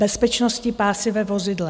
Bezpečnostní pásy ve vozidle.